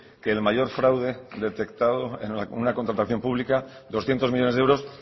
que el mayor fraude detectado en una contratación pública doscientos millónes de euros